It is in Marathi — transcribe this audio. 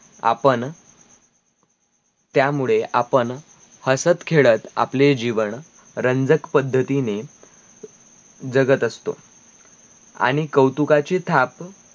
आपन त्यामुळे आपन हसत-खेळत आपले जीवन, रंजक पद्धतीने जगत असतो आणी कौतुकाची थाप